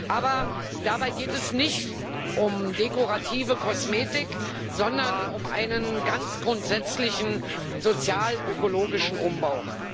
Aber dabei geht es nicht um dekorative Kosmetik, sondern um einen ganz grundsätzlichen sozialökologischen Umbau.